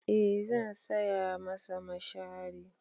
Eh zan saya masa mashari.